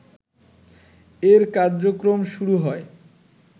এর কার্যক্রম শুরু হয়